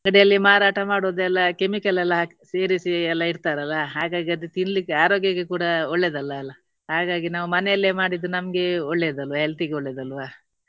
ಅಂಗಡಿಯಲ್ಲಿ ಮಾರಾಟ ಮಾಡುವುದೆಲ್ಲ chemical ಎಲ್ಲ ಹಾಕಿ ಸೇರಿಸಿ ಎಲ್ಲ ಇಡ್ತಾರೆ ಅಲ್ಲಾ. ಹಾಗಾಗಿ ಅದು ತಿನ್ಲಿಕ್ಕೆ ಆರೋಗ್ಯಕ್ಕೆ ಕೂಡ ಒಳ್ಳೇದಲ್ಲ ಅಅಲ್ಲಾ. ಹಾಗಾಗಿ ನಾವು ಮನೆಯಲ್ಲೇ ಮಾಡಿದ್ದು ನಮ್ಗೆ ಒಳ್ಳೆಯದು health ಇಗೆ ಒಳ್ಳೆಯದು ಅಲ್ವಾ.